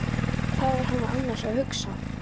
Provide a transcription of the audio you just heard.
Hvað var hann annars að hugsa?